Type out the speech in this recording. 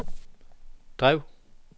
drev